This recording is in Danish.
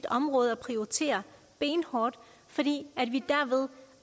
område at prioritere benhårdt fordi vi